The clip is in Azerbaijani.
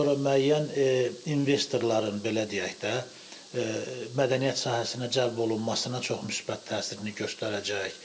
Sonra müəyyən investorların, belə deyək də, mədəniyyət sahəsinə cəlb olunmasına çox müsbət təsirini göstərəcək.